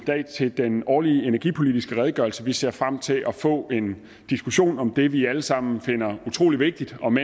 dag til den årlige energipolitiske redegørelse vi ser frem til at få en diskussion om det vi alle sammen finder utrolig vigtigt om